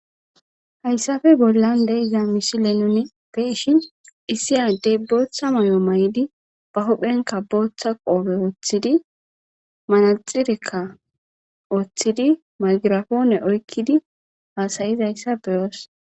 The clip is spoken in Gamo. Hassappe bollan deiza missile nuni beishin issi adey booththa maayo mahidi ba huphen booththa qoope woththidi manaxireka woththidi magrapone oykkidi hasaizayssa be'os.